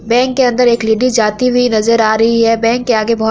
bank के अंदर एक लेडिज जाती हुई नजर आ रही है बैंक के आगे बहोत --